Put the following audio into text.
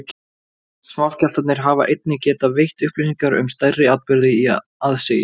Smáskjálftarnir hafa einnig getað veitt upplýsingar um stærri atburði í aðsigi.